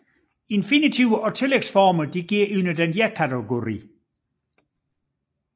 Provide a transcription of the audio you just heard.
Infinitiver og tillægsformer går under denne kategori